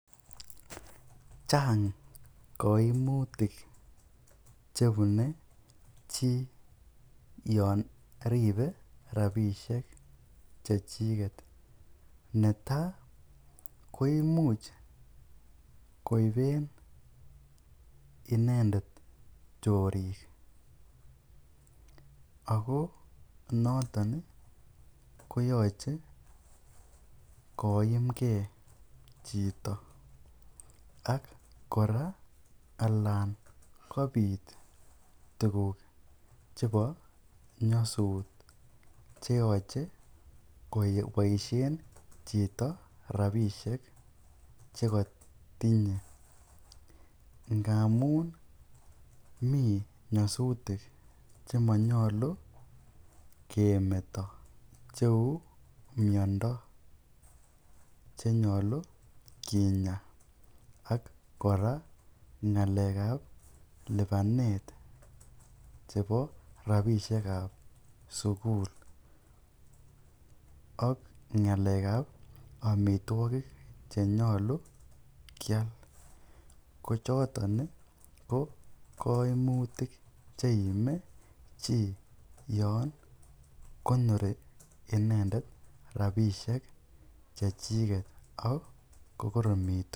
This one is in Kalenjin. Chang koimutik chebune chi yon rib rabishek che chiget. Netaii koimuc koiben inendet chorik ago noton koyoche koimge chito ak kora alan kobit tuguk chebo nyasut, ch eyoche koboisien chito rabishek che kotinye. Ngamun mi nyasutik che monyolu kemeto cheu miondo che nyolu kinya ak kora ng'alekab lipanet chebo rabinik chebo sugul ak ng'alekab amitwogik che nyolu keam, ko choton kokaimutik che iime chi yon konori inendet rabinik che chiget ak ko koromitu.